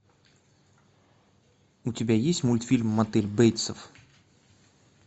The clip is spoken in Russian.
у тебя есть мультфильм мотель бейтсов